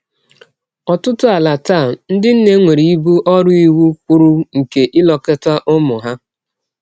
N’ọtụtụ ala taa, ndị nne nwere ibu ọrụ iwụ kwụrụ nke ilekọta ụmụ ha.